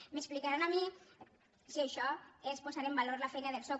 m’explicaran a mi si això és posar en valor la feina del soc